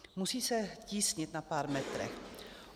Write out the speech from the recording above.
Musí se tísnit na pár metrech.